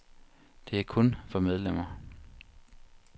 Det er kun for medlemmer.